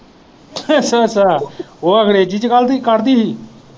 ਅੱਛਾ ਓਹ ਅੰਗਰੇਜੀ ਚ ਗਾਲਾਂ ਕੱਢਦੀ ਹੀ।